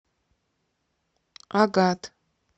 агат